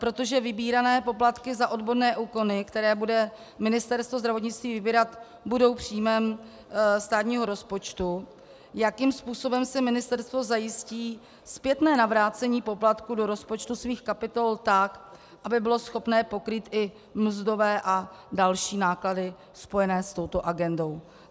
Protože vybírané poplatky za odborné úkony, které bude Ministerstvo zdravotnictví vybírat, budou příjmem státního rozpočtu, jakým způsobem si ministerstvo zajistí zpětné navrácení poplatku do rozpočtu svých kapitol tak, aby bylo schopné pokrýt i mzdové a další náklady spojené s touto agendou.